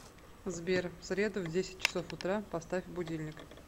сбер в среду в десять часов утра поставь будильник